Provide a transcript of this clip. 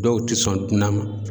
Dɔw tɛ sɔn ntɛna ma.